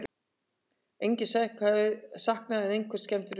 Engan sakaði en einhverjar skemmdir urðu